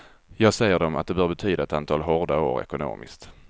Jag säger dem att det bör betyda ett antal hårda år ekonomiskt.